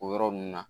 O yɔrɔ ninnu na